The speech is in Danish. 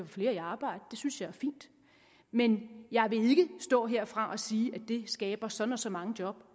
flere i arbejde det synes jeg er fint men jeg vil ikke stå herfra og sige at det skaber så og så mange job